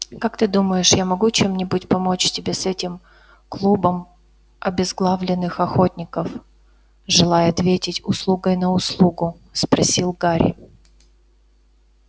как ты думаешь я могу чем-нибудь помочь тебе с этим клубом обезглавленных охотников желая ответить услугой на услугу спросил гарри